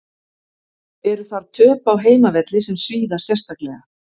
Eru þar töp á heimavelli sem svíða sérstaklega.